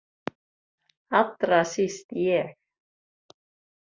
Allra síst ég.